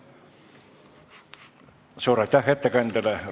Suur aitäh ettekandjale!